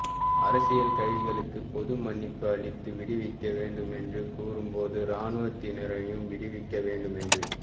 அரசியல் கைதிகளுக்கு பொது மன்னிப்பு அளித்து விடுவிக்க வேண்டுமென்று கூறும்போது இராணுவத்தினரையும் விடுவிக்க வேண்டுமென்று